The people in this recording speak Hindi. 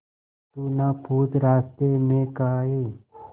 तू ना पूछ रास्तें में काहे